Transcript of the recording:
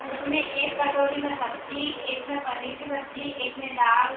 उसमें एक कटोरी में सब्ज़ी एक में पनीर की सब्ज़ी एक में दाल --